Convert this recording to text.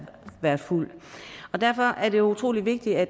været fuld derfor er det utrolig vigtigt at